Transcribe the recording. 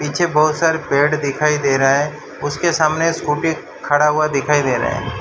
पीछे बहोत सारे पेड़ दिखाई दे रहा है उसके सामने स्कूटी खड़ा हुआ दिखाई दे रहा है।